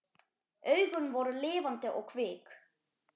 Augun voru lifandi og kvik.